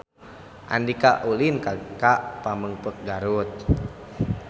Andika ulin ka Pamengpeuk Garut